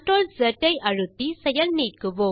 ஐ அழுத்தி செயல் நீக்குவோம்